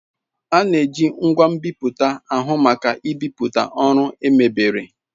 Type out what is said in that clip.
A na-eji ngwa nbipute ahụ maka ibipụta ọrụ emebere.